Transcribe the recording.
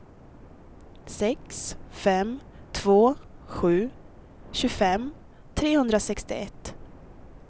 sex fem två sju tjugofem trehundrasextioett